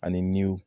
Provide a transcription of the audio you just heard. Ani